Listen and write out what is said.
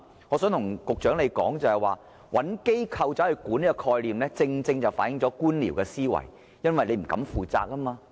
我想對局長說，找機構管理這概念正正反映官僚的思維，因為政府不敢負責。